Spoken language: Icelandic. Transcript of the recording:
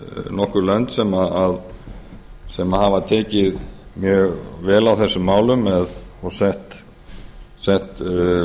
nokkur lönd sem hafa tekið mjög vel á þessum málum og sett lög